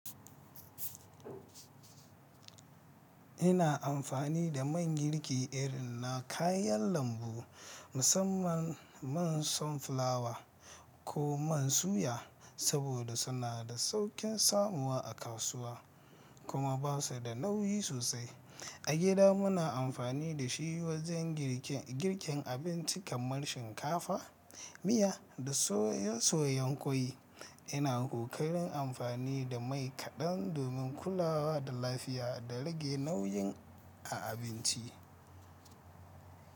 Ina amfani da man girki irin na kayan lambu, musamman man sunflower ko man suya, saboda suna da sauƙin samuwa a kasuwa kuma ba su da nauyi sosai. A gida muna amfani da shi wajen girkin abinci kamar shinkafa, miya da soye-soyen kwai. Ina ƙoƙarin amfani da mai kaɗan domin kulawa da lafiya da rage nauyin a abinci.